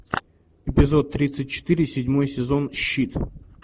эпизод тридцать четыре седьмой сезон щит